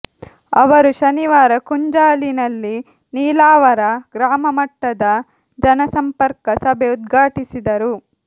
ಅವರು ಶನಿವಾರ ಕುಂಜಾಲಿನಲ್ಲಿ ನೀಲಾವರ ಗ್ರಾಮ ಮಟ್ಟದ ಜನ ಸಂಪರ್ಕ ಸಭೆ ಉದ್ಘಾಟಿಸಿದರು